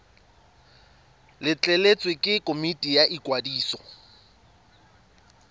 letleletswe ke komiti ya ikwadiso